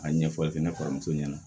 A ɲɛfɔli fɛnɛ faramuso ɲɛna